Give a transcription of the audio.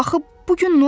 Axı bu gün nolub?